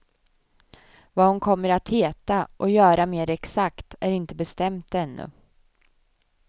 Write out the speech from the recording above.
Vad hon kommer att heta och göra mer exakt är inte bestämt ännu.